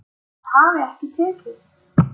Það hafi ekki tekist